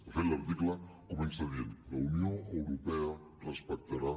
de fet l’article comença dient la unió europea respectarà